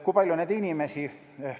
Kui palju neid inimesi on?